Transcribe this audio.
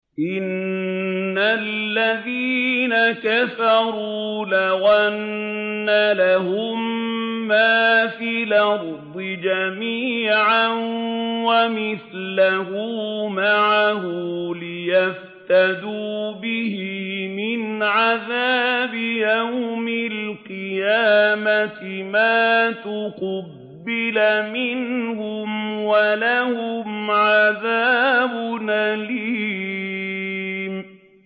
إِنَّ الَّذِينَ كَفَرُوا لَوْ أَنَّ لَهُم مَّا فِي الْأَرْضِ جَمِيعًا وَمِثْلَهُ مَعَهُ لِيَفْتَدُوا بِهِ مِنْ عَذَابِ يَوْمِ الْقِيَامَةِ مَا تُقُبِّلَ مِنْهُمْ ۖ وَلَهُمْ عَذَابٌ أَلِيمٌ